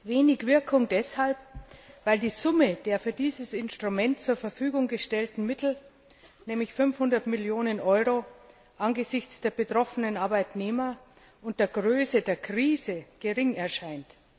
Wenig Wirkung deshalb, weil die Summe der für dieses Instrument zur Verfügung gestellten Mittel nämlich 500 Millionen Euro angesichts der betroffenen Arbeitnehmer und der Größe der Krise gering erscheint.